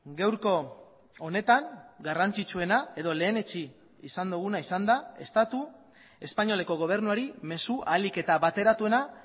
gaurko honetan garrantzitsuena edo lehenetsi izan duguna izan da estatu espainoleko gobernuari mezu ahalik eta bateratuena